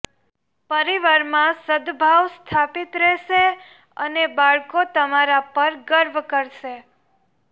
પરિવાર માં સદભાવ સ્થાપિત રહેશે અને બાળકો તમારા પર ગર્વ કરશે